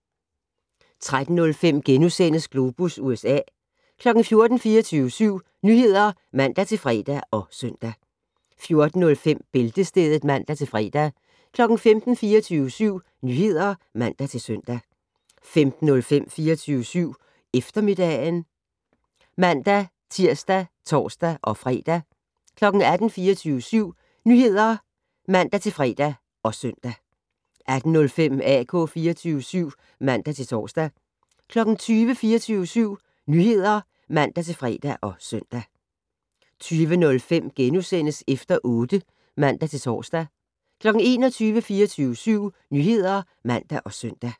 13:05: Globus USA * 14:00: 24syv Nyheder (man-fre og søn) 14:05: Bæltestedet (man-fre) 15:00: 24syv Nyheder (man-søn) 15:05: 24syv Eftermiddag (man-tir og tor-fre) 18:00: 24syv Nyheder (man-fre og søn) 18:05: AK 24syv (man-tor) 20:00: 24syv Nyheder (man-fre og søn) 20:05: Efter otte *(man-tor) 21:00: 24syv Nyheder (man og søn)